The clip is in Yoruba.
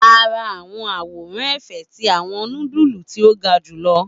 A n ra awọn aworan efe ti awọn nudulu ti o ga julọ